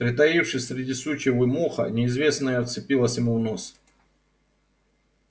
притаившись среди сучьев и моха неизвестное вцепилось ему в нос